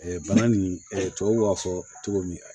bana nin tubabuw b'a fɔ cogo min